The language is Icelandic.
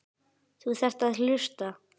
Þú þarft að hlusta.